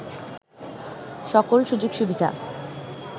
সকল সুযোগ সুবিধা